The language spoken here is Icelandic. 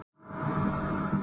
Aldrei fleiri brautskráðir